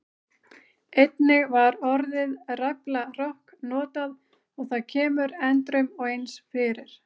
Einnig var orðið ræflarokk notað og það kemur endrum og eins fyrir.